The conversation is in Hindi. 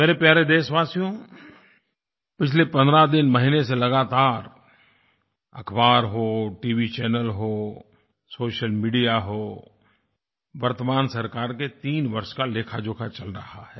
मेरे प्यारे देशवासियों पिछले 15 दिन महीने से लगातार अख़बार हो टीवीचैनल हो सोशल मीडिया हो वर्तमान सरकार के 3 वर्ष का लेखाजोखा चल रहा है